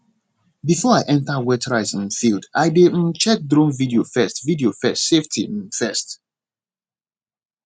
before i enter wet rice um field i dey um check drone video first video first safety um first